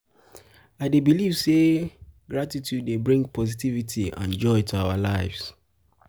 i dey believe say gratitude dey bring positivity and joy to our lives.